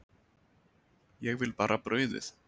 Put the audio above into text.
Ég vil bara brauðið.